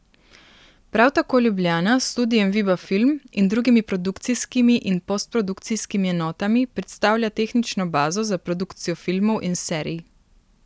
Prav tako Ljubljana s studiem Viba film in drugimi produkcijskimi in postprodukcijskimi enotami predstavlja tehnično bazo za produkcijo filmov in serij.